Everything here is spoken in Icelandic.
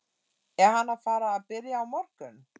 Er hann að fara að byrja á morgun?